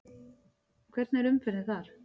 Hvernig er umferðin þar?